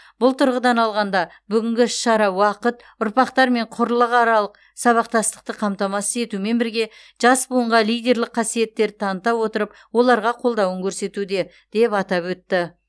бұл тұрғыдан алғанда бүгінгі іс шара уақыт ұрпақтар мен құрлықаралық сабақтастықты қамтамасыз етумен бірге жас буынға лидерлік қасиеттерді таныта отырып оларға қолдауын көрсетуде деп атап өтті